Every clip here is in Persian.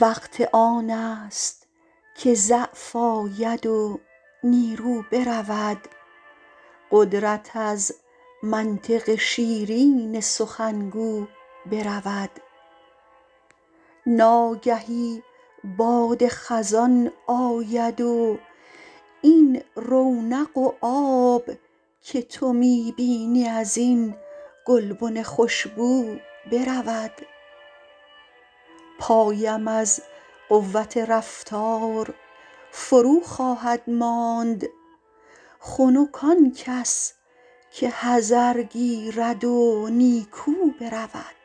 وقت آن است که ضعف آید و نیرو برود قدرت از منطق شیرین سخنگو برود ناگهی باد خزان آید و این رونق و آب که تو می بینی از این گلبن خوشبو برود پایم از قوت رفتار فرو خواهد ماند خنک آن کس که حذر گیرد و نیکو برود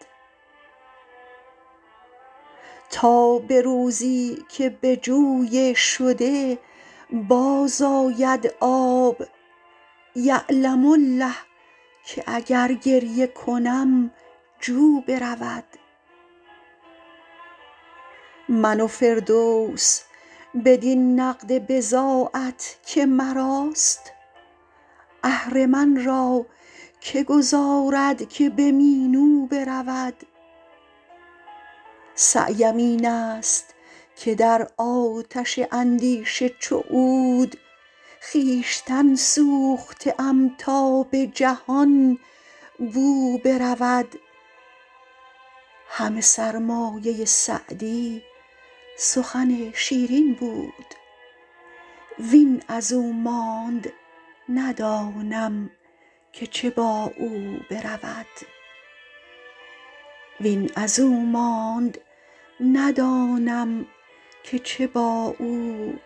تا به روزی که به جوی شده باز آید آب یعلم الله که اگر گریه کنم جو برود من و فردوس بدین نقد بضاعت که مراست اهرمن را که گذارد که به مینو برود سعیم این است که در آتش اندیشه چو عود خویشتن سوخته ام تا به جهان بو برود همه سرمایه سعدی سخن شیرین بود وین از او ماند ندانم که چه با او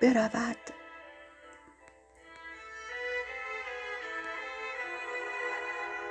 برود